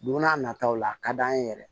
Don n'a nataw la a ka d'an ye yɛrɛ